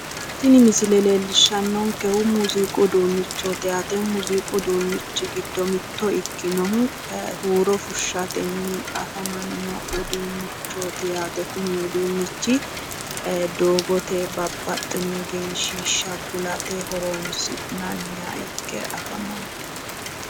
Tini misile leellishshannonkehu muuziiqu uduunnichooti yaate. muuziiqu uduunnichi giddo mitto ikkinohu huuro fushshatenni afamanno uduunnichooti yaate kuni uduunnichi. Doogote babbaxxino egensiishsha kulate horoonsi'nanniha ikke afamanno.